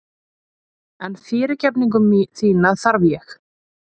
En fyrirgefningu þína þarf ég.